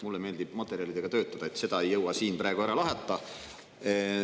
Mulle meeldib materjalidega töötada ja seda ei jõua siin praegu ära lahata.